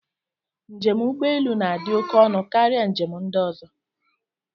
Njem ụgbọelu na-adị oké ọnụ karịa njem ndị ọzọ.